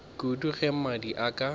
kudu ge mmadi a ka